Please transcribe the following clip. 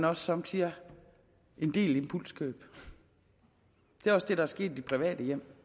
også somme tider en del impulskøb det er også det der er sket i de private hjem